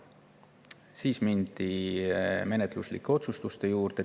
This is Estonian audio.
Siis mindi menetluslike otsuste juurde.